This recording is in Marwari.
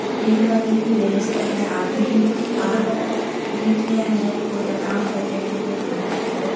बैठवा की भी व्यवस्था हैं आदमी आ बैठ रिया हैं कोई आराम कर रिया हैं कोई खानाे ले रिया हैं।